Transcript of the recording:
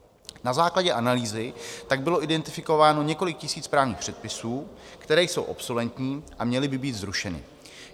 Na základě analýzy tak bylo identifikováno několik tisíc právních předpisů, které jsou obsoletní a měly by být zrušeny.